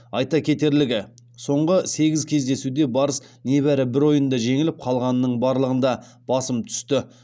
айта кетерлігі соңғы сегіз кездесуде барыс небәрі бір ойында жеңіліп қалғанының барлығында басым түсті